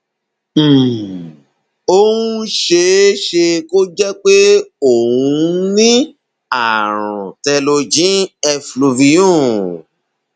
um ó um ṣeé ṣe kó jẹ pé o um ní ààrùn telogen effluvium